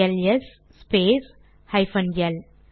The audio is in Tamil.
LS space hyphen L